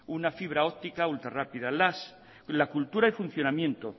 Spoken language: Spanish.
una fibra óptica ultrarrápida la cultura y funcionamiento